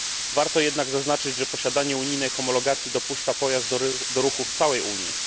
Warto jednak zaznaczyć, że posiadanie unijnej homologacji dopuszcza pojazd do ruchu w całej Unii.